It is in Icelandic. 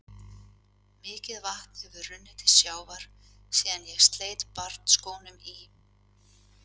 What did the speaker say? Mikið vatn hefur runnið til sjávar síðan ég sleit barnsskónum í